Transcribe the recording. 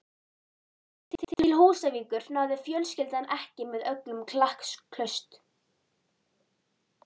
Til Húsavíkur náði fjölskyldan ekki með öllu klakklaust.